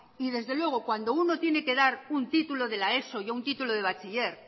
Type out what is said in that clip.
y desde luego cuando uno tiene que dar un título de la eso y un título de bachiller